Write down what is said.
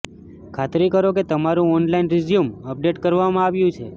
ખાતરી કરો કે તમારું ઓનલાઇન રીઝ્યુમ અપડેટ કરવામાં આવ્યું છે